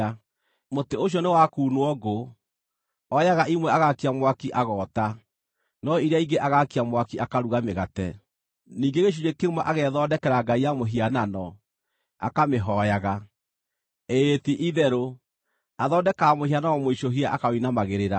Mũtĩ ũcio nĩ wa kuunwo ngũ; oyaga imwe agaakia mwaki, agoota, no iria ingĩ agaakia mwaki, akaruga mĩgate. Ningĩ gĩcunjĩ kĩmwe agethondekera ngai ya mũhianano, akamĩhooyaga. Ĩĩ ti-itherũ, athondekaga mũhianano mũicũhie akaũinamagĩrĩra.